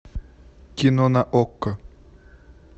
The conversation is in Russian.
кино на окко